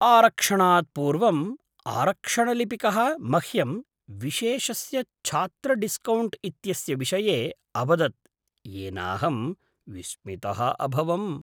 आरक्षणात् पूर्वम् आरक्षणलिपिकः मह्यं विशेषस्य छात्रडिस्कौण्ट् इत्यस्य विषये अवदत् येनाहं विस्मितः अभवम्।